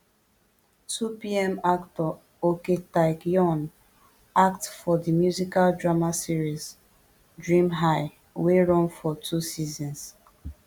twopm actor ok taec yeon act for di musical drama series dream high wey run for two seasons